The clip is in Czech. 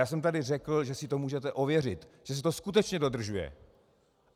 Já jsem tady řekl, že si to můžete ověřit, že se to skutečně dodržuje.